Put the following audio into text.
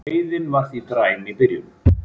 Veiðin var því dræm í byrjun